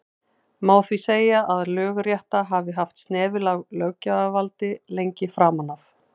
má því segja að lögrétta hafi haft snefil af löggjafarvaldi lengi framan af